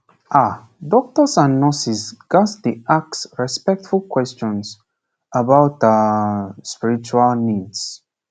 ah doctors and nurses ghats dey ask respectful questions about ah spiritual needs